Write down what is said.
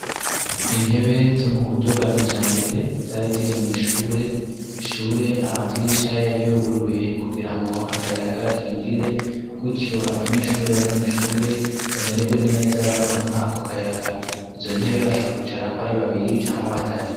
Intebe zo mu buryo bwa kijambere zari ziri mwishure, ishure amadirisha yari yuguruye kugirango akayaga kinjire gutyo abanyeshuri bari mwishure bameregwe neza baronka ako kayaga izo ntebe bashobora kwicarako ari babiri canke batatu.